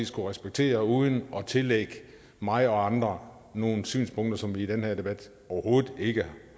skulle respektere uden at tillægge mig og andre nogle synspunkter som vi i den her debat overhovedet ikke